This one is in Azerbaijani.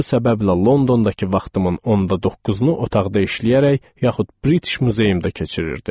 Bu səbəblə Londondakı vaxtımın onda doqquzunu otaqda işləyərək yaxud British muzeyində keçirirdim.